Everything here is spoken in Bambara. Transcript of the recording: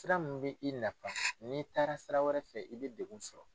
Sira mun bɛ i nafa n'i taara sira wɛrɛ fɛ i bɛ degun sɔrɔ.